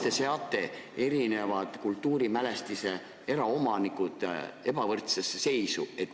Miks te seate kultuurimälestiste eraomanikud ebavõrdsesse seisu?